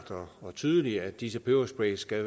og tydeligt at disse pebersprays skal